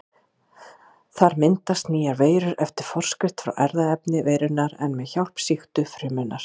Þar myndast nýjar veirur eftir forskrift frá erfðaefni veirunnar en með hjálp sýktu frumunnar.